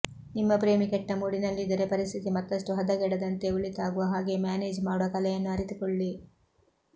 ನಿಮ್ಮ ಪ್ರೇಮಿ ಕೆಟ್ಟ ಮೂಡಿನಲ್ಲಿದ್ದರೆ ಪರಿಸ್ಥಿತಿ ಮತ್ತಷ್ಟು ಹದಗೆಡದಂತೆ ಒಳಿತಾಗುವ ಹಾಗೆ ಮ್ಯಾನೇಜ್ ಮಾಡುವ ಕಲೆಯನ್ನು ಅರಿತುಕೊಳ್ಳಿ